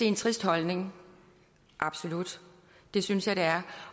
en trist holdning absolut det synes jeg det er